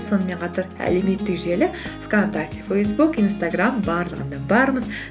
сонымен қатар әлеуметтік желі вконтакте фейсбук инстаграм барлығында бармыз